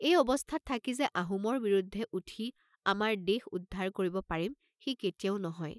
এই অৱস্থাত থাকি যে আহোমৰ বিৰুদ্ধে উঠি আমাৰ দেশ উদ্ধাৰ কৰিব পাৰিম, সি কেতিয়াও নহয়।